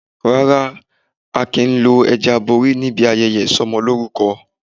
Rárá, a kìí lo ẹja abori níbi ayẹyẹ Ìsọmọlórúkọ.